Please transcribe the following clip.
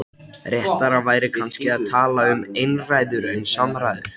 Réttara væri kannski að tala um einræður en samræður.